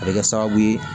A bɛ kɛ sababu ye